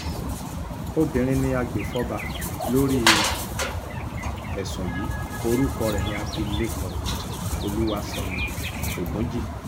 obìnrin ni agbèfọ́ba lórí ẹ̀sùn yìí orúkọ rẹ̀ ní abilékọ olúwaṣẹ́ni ogunjì